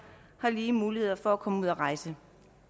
har lige muligheder for at komme ud at rejse